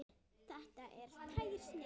Þetta er tær snilld.